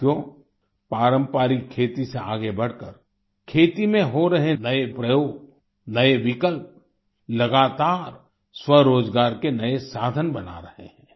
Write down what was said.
साथियो पारंपरिक खेती से आगे बढ़कर खेती में हो रहे नए प्रयोग नए विकल्प लगातार स्वरोजगार के नए साधन बना रहे हैं